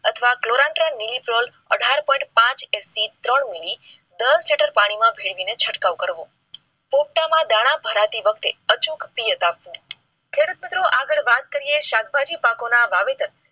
અથવા કોલાન્ત્રા મીલીક્રોન અઢાર point પાંચ ટકા થી ત્રણ મિલી દર હેક્ટર પાણીમાં ભેળવીને છંટકાવ કરવો. પોપટામાં દાણા ભરાવતી વખતે અચૂક પીયત આપવું. ખેડૂત મિત્રો આગળ વાત કરીએ તો શાકભાજી પાકો ના વાવેતર